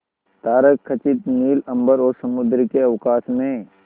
तारकखचित नील अंबर और समुद्र के अवकाश में